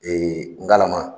ngalama